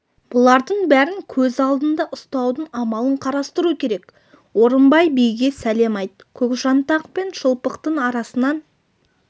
бұлардың бәрін көз алдында ұстаудың амалын қарастыру керек орынбай биге сәлем айт көкжантақ пен шылпықтың арасынан